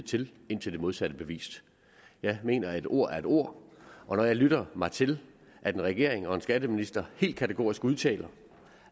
til indtil det modsatte er bevist jeg mener at et ord er et ord og når jeg lytter mig til at en regering og en skatteminister helt kategorisk udtaler